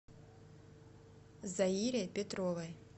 заире петровой